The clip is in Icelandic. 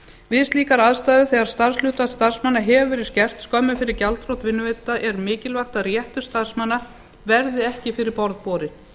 við slíkar aðstæður þegar starfshlutfall starfsmanna hefur verið skert skömmu fyrir gjaldþrot vinnuveitanda er mikilvægt að réttur starfsmanna verði ekki fyrir borð borinn